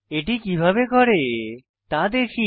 এটি কিভাবে করে তা দেখি